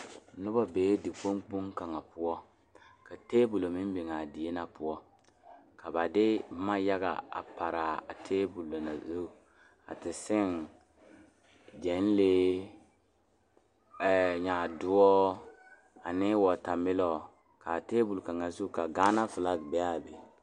Noba bee dikpoŋ kpoŋ kaŋa poɔ ka tabol meŋ biŋ a die na poɔ ka ba de boma yaga a pare a tabol na zu a te seŋ gyɛnlee ɛɛ nyaadoɔ ane wɔtamelɔ k,a tabol kaŋ zu ka Gaana filagi a be a be.